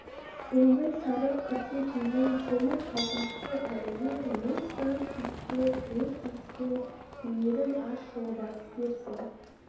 теңбіл сары күрте киген темір қалпақты пәлелер мың-сан киікке түре тиіскен үйіріл аш жолбарыс дерсің